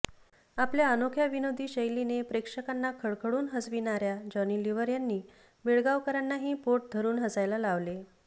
आपल्या अनोख्या विनोदी शैलीने प्रेक्षकांना खळखळून हसविणाऱया जॉनी लिव्हर यांनी बेळगावकरांनाही पोट धरून हसायला लावले